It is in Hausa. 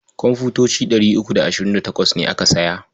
Komfutoci ɗari uku da ashirin da tawas ne aka saya.